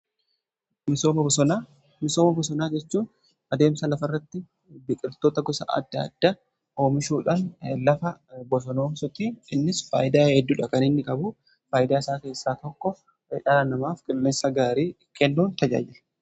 Misooma bosonaa jechuu adeemsa lafa irratti biqiltoota gosa adda adda oomishuudhaan lafa bosonoomsuti. Innis faayidaa hedduudha kan inni qabu. Faayidaa isaa keessaa tokko dhaala namaaf qilleensa gaarii kennuuf tajaajila.